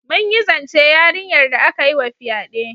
Mun yi zance yarinyar da aka yi wa fyade.